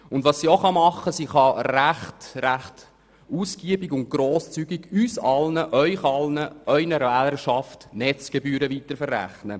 Zudem kann sie uns allen, das heisst Ihnen allen und Ihrer Wählerschaft, Netzgebühren recht ausgiebig und grosszügig weiterverrechnen.